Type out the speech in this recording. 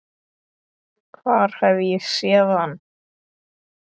Hvar hef ég séð hann?